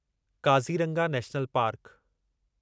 Kaziranga national park